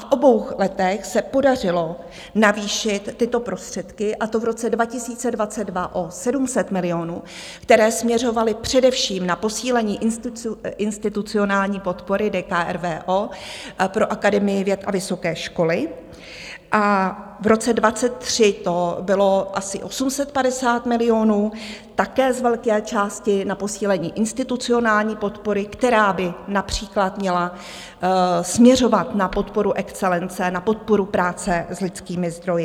V obou letech se podařilo navýšit tyto prostředky, a to v roce 2022 o 700 milionů, které směřovaly především na posílení institucionální podpory DKRVO pro Akademii věd a vysoké školy, a v roce 2023 to bylo asi 850 milionů také z velké části na posílení institucionální podpory, která by například měla směřovat na podporu excelence, na podporu práce s lidskými zdroji.